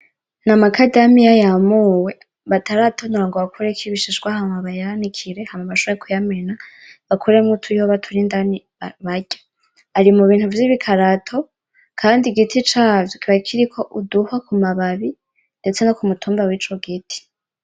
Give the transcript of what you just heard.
N'amakadamiya yamuwe bataratonora ngo bakureko ibishishwa; hama bayanikire; hama bashobore kuyamena bakuremwo utuyoba turi indani barya, ari mu bintu vy'ibikarato, kandi igiti cavyo kiba kiriko uduhwa ku mababi ndetse no ku mutumba w'ico giti.